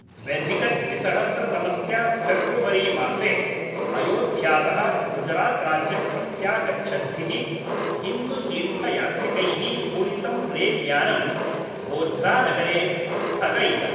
द्व्यधिकद्विसहस्रतमस्य February मासे अयोध्यातः गुजरात् राज्यं प्रत्यागच्छद्भिः हिन्दुतीर्थयात्रिकैः पूरितं रैल्यानं गोध्रानगरे स्थगयितम्।